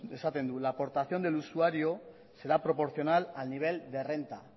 esaten du la aportación del usuario será proporcional al nivel de renta